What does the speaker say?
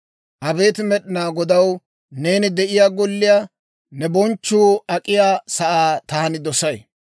Abeet Med'inaa Godaw, neeni de'iyaa golliyaa, ne bonchchuu ak'iyaa sa'aa taani dosay.